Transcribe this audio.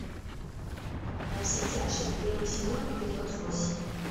во все тяжкие первый сезон эпизод восемь